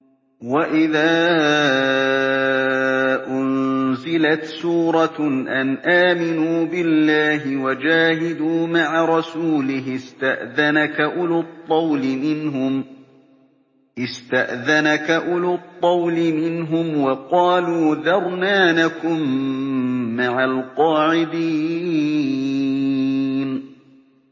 وَإِذَا أُنزِلَتْ سُورَةٌ أَنْ آمِنُوا بِاللَّهِ وَجَاهِدُوا مَعَ رَسُولِهِ اسْتَأْذَنَكَ أُولُو الطَّوْلِ مِنْهُمْ وَقَالُوا ذَرْنَا نَكُن مَّعَ الْقَاعِدِينَ